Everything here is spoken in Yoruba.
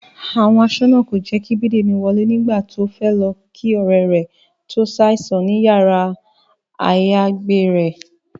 Àwọn aṣọ́nà kò jẹ́ kí Bídèmí wọlé nígbà tó fẹ́ lọ kí ọ̀rẹ́ rẹ̀ tó ṣàìsàn ní yàrá-àyágbé rẹ̀